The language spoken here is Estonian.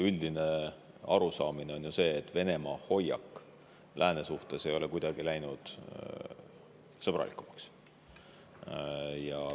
Üldine arusaam on ju see, et Venemaa hoiak lääne suhtes ei ole kuidagi sõbralikumaks läinud.